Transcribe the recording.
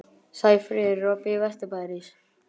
Sæfríður, er opið í Vesturbæjarís?